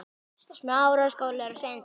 Ólafur Gaukur útsetti lögin.